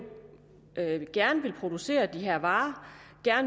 gerne producere de her varer